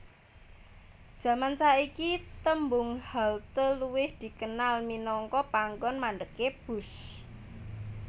Jaman saiki tembung halte luwih dikenal minangka panggonan mandhegé bus